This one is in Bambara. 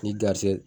Ni garisigɛ